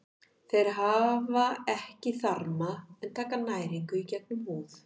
Þeir hafa ekki þarma en taka næringu í gegnum húð.